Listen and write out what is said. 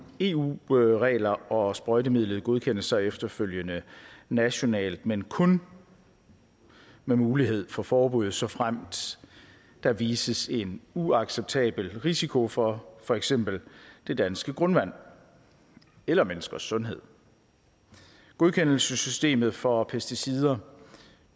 eu regler og sprøjtemidlet godkendes så efterfølgende nationalt men kun med mulighed for forbud såfremt der viser sig en uacceptabel risiko for for eksempel det danske grundvand eller menneskers sundhed godkendelsessystemet for pesticider